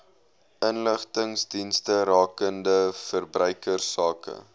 inligtingsdienste rakende verbruikersake